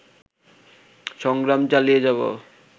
সংগ্রাম চালিয়ে যাবো